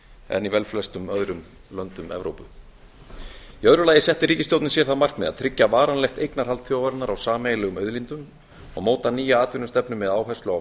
en í velflestum öðrum löndum evrópu í öðru lagi setti ríkisstjórnin sér það markmið að tryggja varanlegt eignarhald þjóðarinnar á sameiginlegum auðlindum og móta nýja atvinnustefnu með áherslu á